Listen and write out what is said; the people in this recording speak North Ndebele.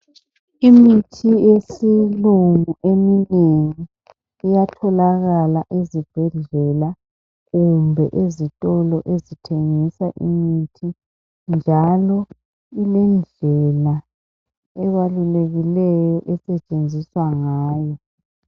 Imithi yesilungu eminengi iyatholakala ezibhedlela kumbe ezitolo, ezithengisa imithi, njalo ilendlela ebalulekileyo. Esetshenziswa ngayo.